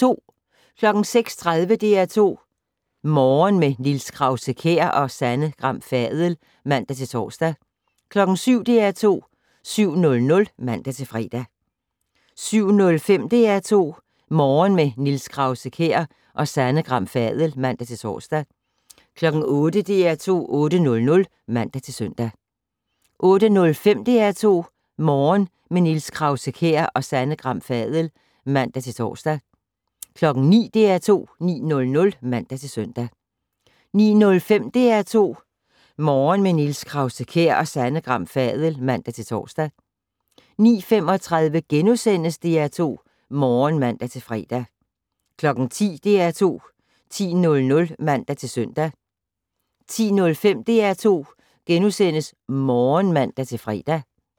06:30: DR2 Morgen - med Niels Krause-Kjær og Sanne Gram Fadel (man-tor) 07:00: DR2 7:00 (man-fre) 07:05: DR2 Morgen - med Niels Krause-Kjær og Sanne Gram Fadel (man-tor) 08:00: DR2 8:00 (man-søn) 08:05: DR2 Morgen - med Niels Krause-Kjær og Sanne Gram Fadel (man-tor) 09:00: DR2 9:00 (man-søn) 09:05: DR2 Morgen - med Niels Krause-Kjær og Sanne Gram Fadel (man-tor) 09:35: DR2 Morgen *(man-fre) 10:00: DR2 10:00 (man-søn) 10:05: DR2 Morgen *(man-fre)